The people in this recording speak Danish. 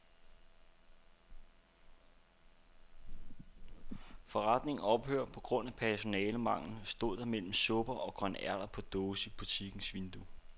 Forretningen ophører på grund af personalemangel, stod der mellem supper og grønærter på dåse i butikkens vindue.